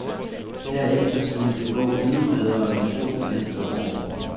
Derefter skulle det gå endnu bedre de to næste år.